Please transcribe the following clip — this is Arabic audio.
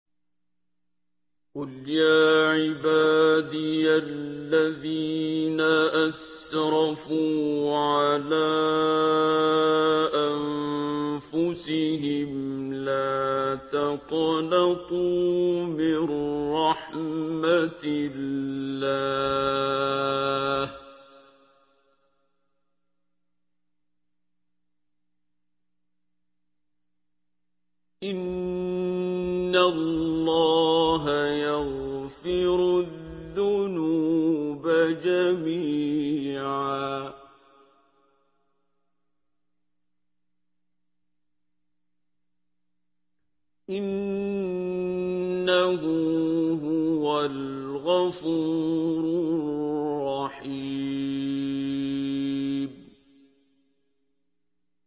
۞ قُلْ يَا عِبَادِيَ الَّذِينَ أَسْرَفُوا عَلَىٰ أَنفُسِهِمْ لَا تَقْنَطُوا مِن رَّحْمَةِ اللَّهِ ۚ إِنَّ اللَّهَ يَغْفِرُ الذُّنُوبَ جَمِيعًا ۚ إِنَّهُ هُوَ الْغَفُورُ الرَّحِيمُ